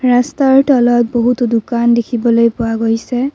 ৰাস্তাৰ তলত বহুতো দোকান দেখিবলৈ পোৱা গৈছে।